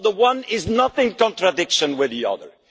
Well, the one is not in contradiction with the other.